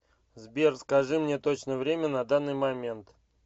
сбер скажи мне точное время на данный момент